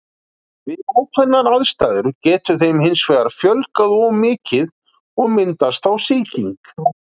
Við ákveðnar aðstæður getur þeim hins vegar fjölgað of mikið og myndast þá sýking.